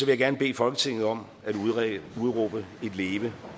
jeg gerne bede folketinget om at udråbe et leve